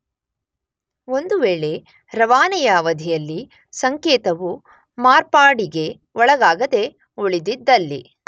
ಒಂದು ವೇಳೆ ರವಾನೆಯ ಅವಧಿಯಲ್ಲಿ ಸಂಕೇತವು ಮಾರ್ಪಾಡಿಗೆ ಒಳಗಾಗದೇ ಉಳಿದಿದ್ದಲ್ಲಿ